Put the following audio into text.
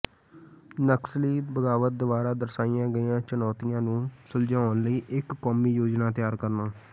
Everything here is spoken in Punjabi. ਨਕਸਲੀ ਬਗ਼ਾਵਤ ਦੁਆਰਾ ਦਰਸਾਈਆਂ ਗਈਆਂ ਚੁਣੌਤੀਆਂ ਨੂੰ ਸੁਲਝਾਉਣ ਲਈ ਇਕ ਕੌਮੀ ਯੋਜਨਾ ਤਿਆਰ ਕਰਨਾ